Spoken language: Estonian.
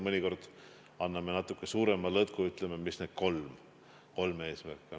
Mõnikord me anname natuke suurema lõtku ja ütleme, mis on kolm eesmärki.